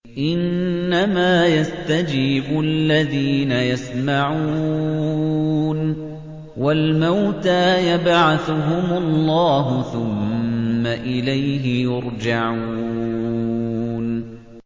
۞ إِنَّمَا يَسْتَجِيبُ الَّذِينَ يَسْمَعُونَ ۘ وَالْمَوْتَىٰ يَبْعَثُهُمُ اللَّهُ ثُمَّ إِلَيْهِ يُرْجَعُونَ